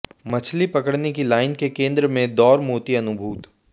मछली पकड़ने की लाइन के केंद्र में दौर मोती अनुभूत